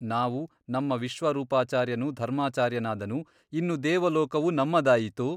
ನಾವು ನಮ್ಮ ವಿಶ್ವರೂಪಾಚಾರ್ಯನು ಧರ್ಮಾಚಾರ್ಯನಾದನು ಇನ್ನು ದೇವಲೋಕವು ನಮ್ಮದಾಯಿತು !